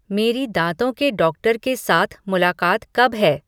मेरी दाँतों के डॉक्टर के साथ मुलाक़ात कब हैं